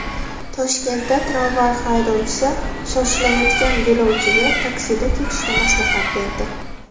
Toshkentda tramvay haydovchisi shoshilayotgan yo‘lovchiga taksida ketishni maslahat berdi.